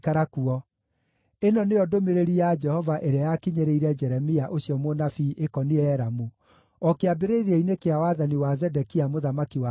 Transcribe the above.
Ĩno nĩyo ndũmĩrĩri ya Jehova ĩrĩa yakinyĩrĩire Jeremia ũcio mũnabii ĩkoniĩ Elamu, o kĩambĩrĩria-inĩ kĩa wathani wa Zedekia mũthamaki wa Juda: